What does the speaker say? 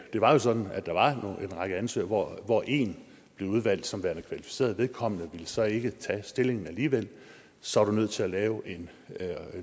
det var jo sådan at der var en række ansøgere hvor en blev udvalgt som værende kvalificeret vedkommende ville så ikke tage stillingen alligevel så er du nødt til at lave et